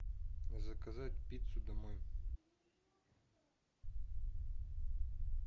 заказать пиццу домой